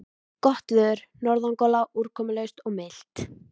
Gott veður, norðangola, úrkomulaust og milt.